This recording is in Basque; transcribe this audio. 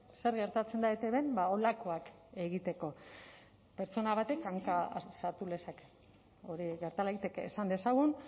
zer gertatzen da etbn holakoak egiteko pertsona batek hanka sartu lezake hori gerta daiteke esan dezagun